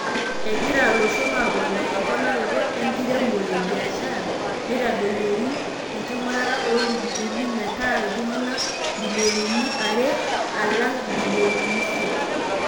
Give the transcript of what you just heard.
Egira loshon aponaa emponaroto enkiremore ebiashara neitadoyioroi enkingurata oo lukunkuni meta iltungana mbiolionini are alang mbilionini isiet.